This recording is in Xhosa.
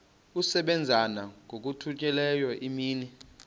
asebenza ngokokhutheleyo imini